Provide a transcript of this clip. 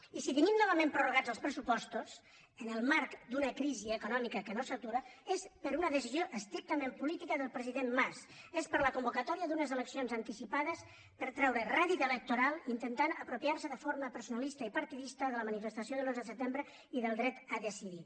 i si tenim novament prorrogats els pressupostos en el marc d’una crisi econòmica que no s’atura és per una decisió estrictament política del president mas és per la convocatòria d’unes eleccions anticipades per treure rèdit electoral intentant apropiar se de forma personalista i partidista de la manifestació de l’onze de setembre i del dret a decidir